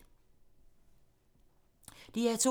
DR2